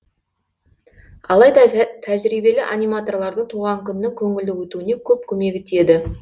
алайда тәжірибелі аниматорлардың туған күннің көңілді өтуіне көп көмегі тиеді